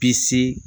Bisi